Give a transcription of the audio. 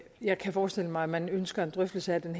jeg kan forestille mig at man ønsker en drøftelse af den